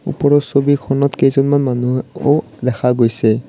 ওপৰৰ ছবিখনত কেইজনমান মানুহো ও দেখা গৈছে।